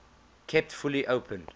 kept fully open